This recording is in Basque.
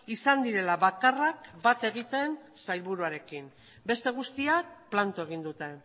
izan direla bakarrak bat egiten sailburuarekin beste guztiak planto egin dute